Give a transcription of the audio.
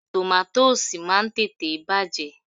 Tòmátósì máa ń tètè bàjẹ́.